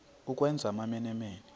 ukwenza amamene mene